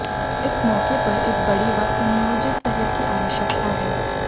इस मौके पर एक बड़ी व सुनियोजित पहल की आवश्यकता है